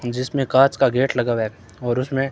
जिसमें कांच का गेट लगा हुआ है और उसमें--